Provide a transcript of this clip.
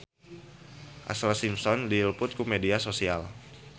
Ashlee Simpson diliput ku media nasional